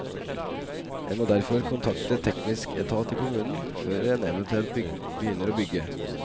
En må derfor kontakte teknisk etat i kommunen før en eventuelt begynner å bygge.